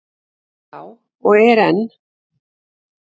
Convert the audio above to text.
Já, og er enn.